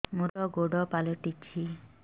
ମୋର ଗୋଡ଼ ପାଲଟିଛି